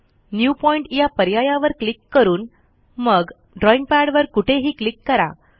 new point या पर्यायावर click करून मग ड्रॉईंग पॅडवर कुठेही क्लिक करा